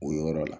O yɔrɔ la